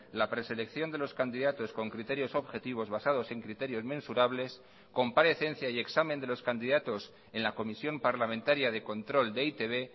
la preselección de los candidatos con criterios objetivos basados en criterios mensurables comparecencia y examen de los candidatos en la comisión parlamentaria de control de e i te be